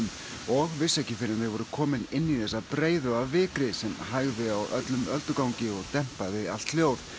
og vissu ekki fyrr en þau voru komin inn í þessa breiðu af vikri sem hægði á öllum öldugangi og dempaði allt hljóð